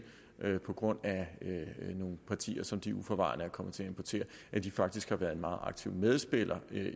på grund af nogle partier som de uforvarende er kommet til at importere faktisk har været en meget aktiv medspiller